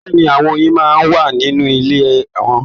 Bẹ́ẹ̀ni, àwọn oyin máa n wà nínú ilé wọn.